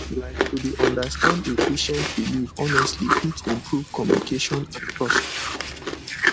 like to dey understand a patient belief honestly fit improve communication and trust